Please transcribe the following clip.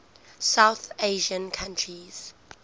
south asian countries